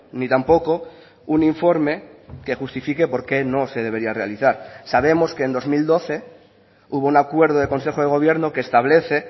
ni tampoco un informe que justifique por qué no se debería realizar sabemos que en dos mil doce hubo un acuerdo de consejo de gobierno que establece